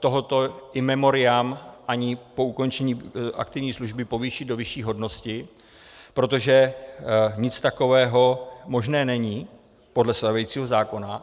tohoto in memoriam ani po ukončení aktivní služby povýšit do vyšší hodnosti, protože nic takového možné není podle stávajícího zákona.